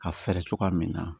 Ka fɛɛrɛ cogoya min na